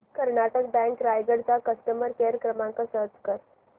Karnataka bank Raigad चा customer care क्रमांक search कर